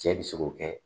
Cɛ bi se k'o kɛ